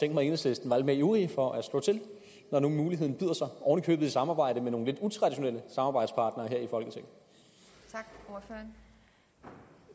enhedslisten var lidt mere ivrige for at slå til når nu muligheden byder sig ovenikøbet i samarbejde med nogle lidt utraditionelle samarbejdspartnere her